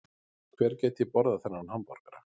Hver gæti borðað þennan hamborgara